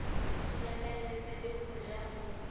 sulafalletswe le ho ja ho